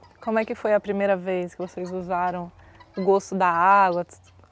Como é que foi a primeira vez que vocês usaram o gosto da água?